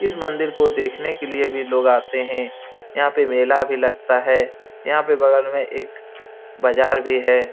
इस मंदिर को देखने के लिए भी लोग आते हैं यहां पर मेला भी लगता है यहां पर बगल में एक बाजार भी है।